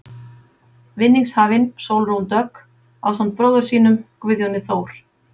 Vinningshafinn, Sólrún Dögg, ásamt bróður sínum, Guðjóni Þór.